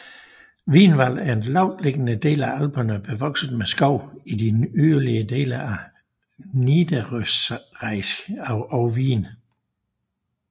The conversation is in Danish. Wienerwald er en lavtliggende del af Alperne bevokset med skov i de yderlige dele af Niederösterreich og Wien